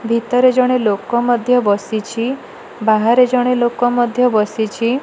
ଭିତରେ ଜଣେ ଲୋକ ମଧ୍ୟ ବସିଛି। ବାହାରେ ଜଣେ ଲୋକ ମଧ୍ୟ ବସିଛି।